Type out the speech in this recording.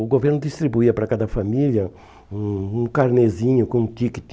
O governo distribuía para cada família um um carnêzinho com um tíquete.